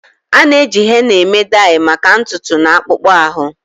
A na-eji henna eme dai maka ntutu na akpụkpọ ahụ.